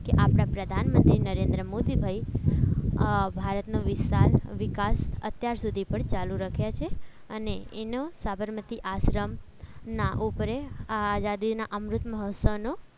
ક આપણા પ્રધાનમંત્રી નરેન્દ્ર મોદી ભાઈ ભારતનો વિસ્તાર વિકાસ અત્યાર સુધી પણ ચાલુ રાખ્યા છે અને એનો સાબરમતી આશ્રમ ના ઉપર આઝાદીના અમૃત મહોત્સવ નો